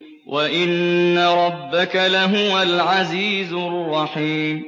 وَإِنَّ رَبَّكَ لَهُوَ الْعَزِيزُ الرَّحِيمُ